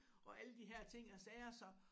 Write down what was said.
Og alle de her ting og sager så